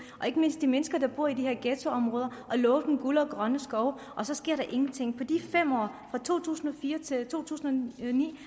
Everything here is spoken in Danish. ikke mindst de mennesker der bor i de her ghettoområder at love dem guld og grønne skove og så sker der ingenting i de fem år fra to tusind og fire til to tusind og ni